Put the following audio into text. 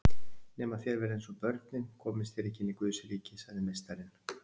Nema þér verðið eins og börnin komist þér ekki inn í Guðsríki, sagði Meistarinn.